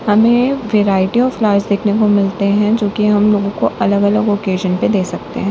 हमें variety of flowers देखने को मिलते हैं जो कि हम लोगों को अलग अलग ओकेजन पर दे सकते हैं।